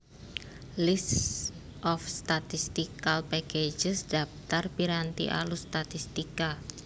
List of statistical packages dhaptar piranti alus statistika